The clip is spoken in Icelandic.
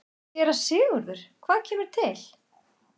SÉRA SIGURÐUR: Hvað kemur til?